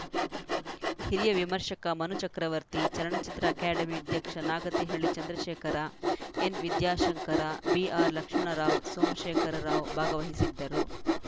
ಹಿರಿಯ ವಿಮರ್ಶಕ ಮನು ಚಕ್ರವರ್ತಿ ಚಲನಚಿತ್ರ ಅಕಾಡೆಮಿ ಅಧ್ಯಕ್ಷ ನಾಗತಿಹಳ್ಳಿ ಚಂದ್ರಶೇಖರ ಎನ್‌ ವಿದ್ಯಾಶಂಕರ ಬಿಆರ್‌ಲಕ್ಷ್ಮಣರಾವ್‌ ಸೋಮಶೇಖರ ರಾವ್‌ ಭಾಗವಹಿಸಿದ್ದರು